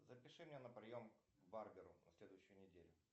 запиши меня на прием к барберу на следующую неделю